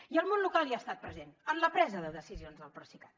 i el món local hi ha estat present en la presa de decisions del procicat